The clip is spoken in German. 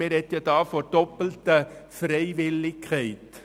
Man spricht nämlich hier von «doppelter Freiwilligkeit».